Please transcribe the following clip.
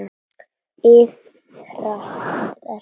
Iðrast þess nú.